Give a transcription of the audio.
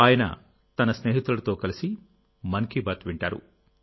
ఆయన తన స్నేహితులతో కలిసి మన్ కీ బాత్ వింటారు